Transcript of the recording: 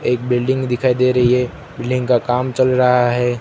एक बिल्डिंग दिखाई है। बिल्डिंग का काम चल रहा है।